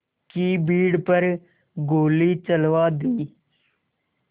की भीड़ पर गोली चलवा दी